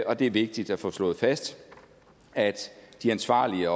og det er vigtigt at få slået fast at de ansvarlige